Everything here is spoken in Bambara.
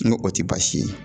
N ko o ti baasi ye.